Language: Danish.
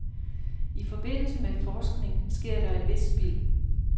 I forbindelse med forskning sker der et vist spild.